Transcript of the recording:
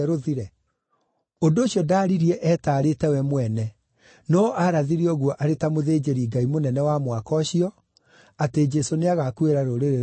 Ũndũ ũcio ndaaririe etaarĩte we mwene, no aarathire ũguo arĩ ta mũthĩnjĩri-Ngai mũnene wa mwaka ũcio, atĩ Jesũ nĩagakuĩra rũrĩrĩ rwa Ayahudi,